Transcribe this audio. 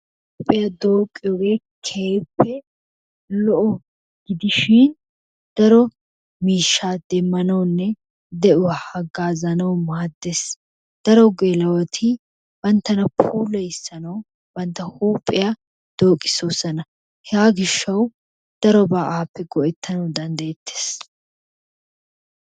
Huuphphiyaa dooqqiyoogee keehippe lo"o gidishiin daro miishshaa demmanawunne de'uwaa haagazanawu maaddees. Daro geela"oti banttana puulayissanawu bantta huuphphiyaa dooqisoosona. Hegaa giishshawu darobaa appe go"ettanwu dandayettee.